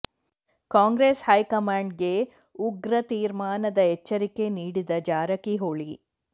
Congress high ಕಮಾಂಡ್ಗೆ ಉಗ್ರ ತೀರ್ಮಾನದ ಎಚ್ಚರಿಕೆ ನೀಡಿದ ಜಾರಕಿಹೊಳಿ